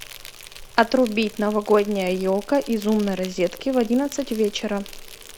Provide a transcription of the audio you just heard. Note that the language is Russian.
отрубить новогодняя елка из умной розетки в одиннадцать вечера